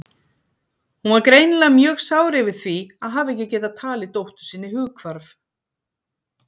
Hún var greinilega mjög sár yfir því að hafa ekki getað talið dóttur sinni hughvarf.